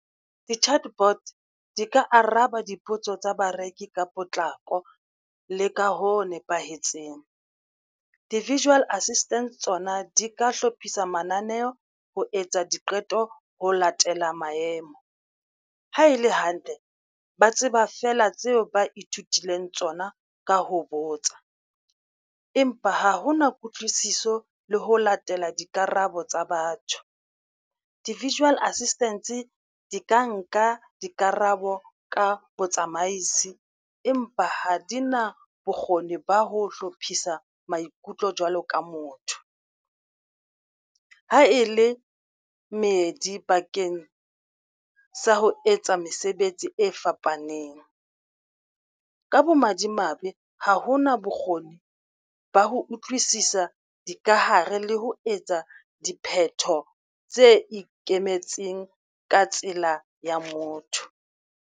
Di-chatbot di ka araba dipotso tsa bareki ka potlako le ka ho nepahetseng. Di-virtual assistant tsona di ka hlophisa mananeo ho etsa diqeto ho latela maemo. Ha e le hantle, ba tseba feela tseo ba ithutileng tsona ka ho botsa, empa ha ho na kutlwisiso le ho latela dikarabo tsa batho di-virtual assistants di ka nka dikarabo ka botsamaisi, empa ha di na bokgoni ba ho hlophisa maikutlo jwalo ka motho, ha e le medi bakeng sa ho etsa mesebetsi e fapaneng, ka bomadimabe ha ho na bokgoni ba ho utlwisisa dikahare le ho etsa dipheto tse ikemetseng ka tsela ya motho.